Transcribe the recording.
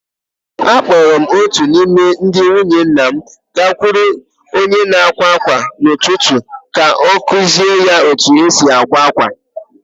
Akpọọrọ m otu n’ime ndị nwunye nna m gakwuru onye na-akwa ákwà n’ụtụtụ ka ọ kụziere ya otú e si akwa akwa.